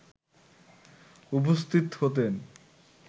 উপস্থিত হতেন